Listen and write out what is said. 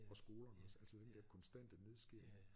Og skolerne også altså den dér konstante nedskæring